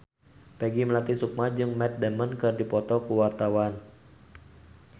Peggy Melati Sukma jeung Matt Damon keur dipoto ku wartawan